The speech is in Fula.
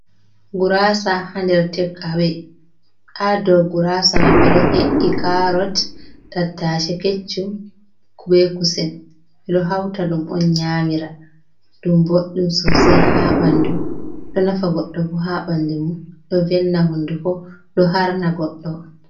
Guraasa haa nder tekawe, haa dow guraasa may ɓe ɗo he’i kaarot, tattaace keccum, be kusel, ɓe ɗo hawta ɗum on nyaamira, ɗum ɓoɗɗum soosay haa ɓanndu, ɗo nafa goɗɗo bo haa ɓanndu mum, ɗo velna honnduko, ɗo harna goɗɗo.